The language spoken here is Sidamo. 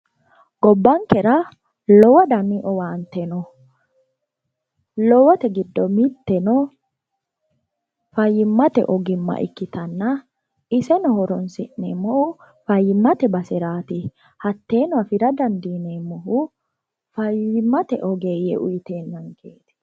Gobbankera lowo danni owaante noo lowori giddo faayimate owaante no hatteno afira dandiineemmohu faayimate oggeeye uyitenanketi